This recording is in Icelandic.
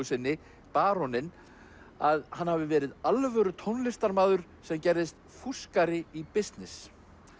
sinni baróninn að hann hafi verið alvöru tónlistarmaður sem gerðist fúskari í bisness